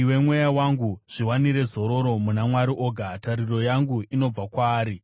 Iwe mweya wangu, zviwanire zororo muna Mwari oga; tariro yangu inobva kwaari.